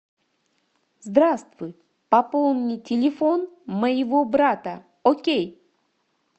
здравствуй пополни телефон моего брата окей